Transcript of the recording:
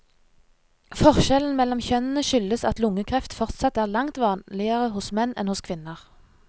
Forskjellen mellom kjønnene skyldes at lungekreft fortsatt er langt vanligere hos menn enn hos kvinner.